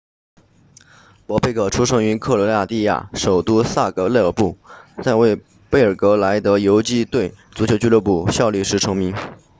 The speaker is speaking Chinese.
博贝克出生于克罗地亚首都萨格勒布在为贝尔格莱德游击队足球俱乐部效力时成名